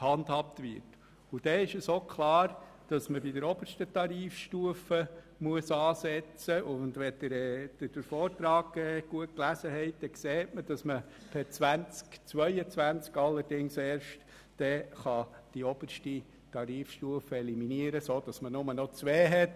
Dann ist auch klar, dass man in der obersten Tarifstufe ansetzen muss, und aus dem Vortrag ersehen Sie, dass man ab dem Jahr 2022 die oberste Tarifstufe eliminiert, sodass man dann nur noch zwei hat.